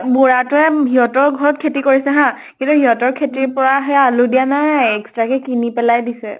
বুঢ়াটোয়ে সিহঁতৰ ঘৰত খেতি কৰিছে হা। কিন্তু সিহঁতৰ খেতিৰ পৰা সেই আলু দিয়া নাই। extra কে কিনি পেলাই দিছে।